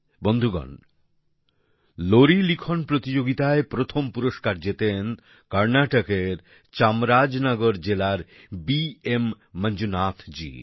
বন্ধুগণ লোরি লিখন প্রতিযোগিতায় প্রথম পুরস্কার জেতেন কর্ণাটকের চামরাজনগর জেলার বি এম মঞ্জুনাথজী